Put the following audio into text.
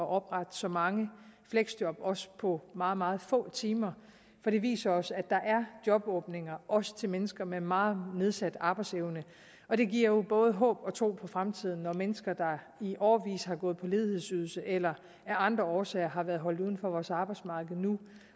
at oprette så mange fleksjob også på meget meget få timer for det viser os at der er jobåbninger også til mennesker med meget nedsat arbejdsevne og det giver jo både håb og tro på fremtiden når mennesker der i årevis har gået på ledighedsydelse eller af andre årsager har været holdt uden for vores arbejdsmarked nu